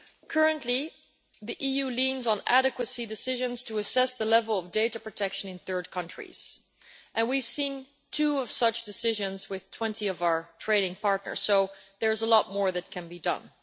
Currently, the EU relies on adequacy decisions to assess the level of data protection in third countries, and we've seen two such decisions with 20 of our trading partners, so there is a lot more that can be done.